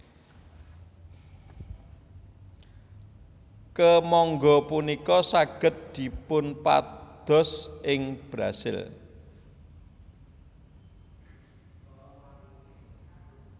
Kemangga punika saged dipunpados ing Brasil